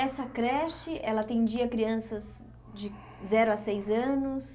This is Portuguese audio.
Essa creche ela atendia crianças de zero a seis anos?